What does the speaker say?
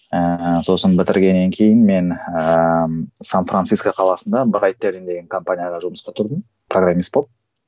ііі сосын бітіргеннен кейін мен ііі сан франциско қаласында брайтберн деген компанияға жұмысқа тұрдым программист болып